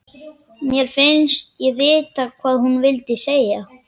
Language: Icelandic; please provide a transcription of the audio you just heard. Mér finnst ég vita hvað hún vildi segja.